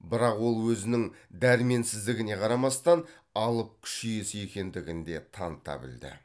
бірақ ол өзінің дәрменсіздігіне қарамастан алып күш иесі екендігін де таныта білді